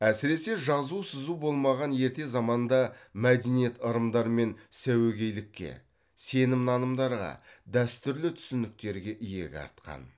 әсіресе жазу сызу болмаған ерте заманда мәдениет ырымдар мен сәуегейлікке сенім нанымдарға дәстүрлі түсініктерге иек артқан